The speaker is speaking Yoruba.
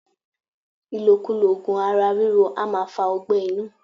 Ilokulo ogun ara riro a maa fa ọgbé̩ inu